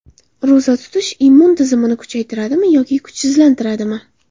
Ro‘za tutish immun tizimini kuchaytiradimi yoki kuchsizlantiradimi?